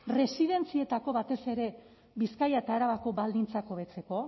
residentzietako batez ere bizkaia eta arabako baldintzak hobetzeko